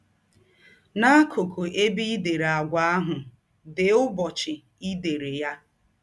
N’akụkụ ebe i dere àgwà ahụ, dee ụbọchị i dere ya.